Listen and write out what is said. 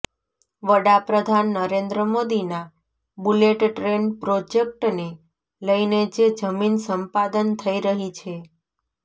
વડાપ્રધાન નરેન્દ્ર મોદીના bullet train પ્રોજેક્ટને લઈને જે જમીન સંપાદન થઈ રહી છે